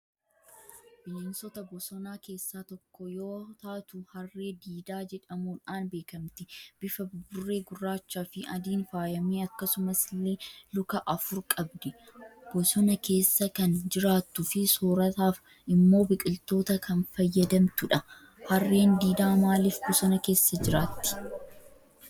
Bineensota bosonaa keessaa tokko yoo taatu Harree diidaa jedhamuudhaan beekamti. Bifa buburree gurraachaafi adiin faayame, akkasuma illee luka afur qabdi. Bosona keessa kan jiraattuufi soorataaf immoo biqiloota kan fayyadamttu dha. Harreen diidaa maalif bosona keessa jiraattii ?